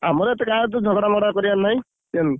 ଆମର ଏତେ କାହା ସହିତ ଝଗଡା ମଗଡା କରିଆର ନାହିଁ। ଜାଣିଲୁ?